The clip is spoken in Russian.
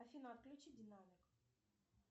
афина отключи динамик